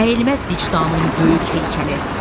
Əyilməz vicdanın böyük heykəli.